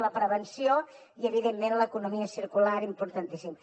la prevenció i evidentment l’economia circular importantíssim